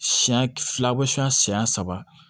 Siyɛn fila siyɛn saba